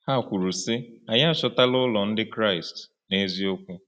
Ha kwuru, sị: “Anyị achọtara ụlọ Ndị Kraịst n’eziokwu.”